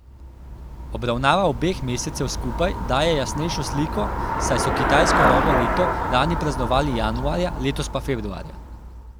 Obravnava obeh mesecev skupaj daje jasnejšo sliko, saj so kitajsko novo leto lani praznovali januarja, letos pa februarja.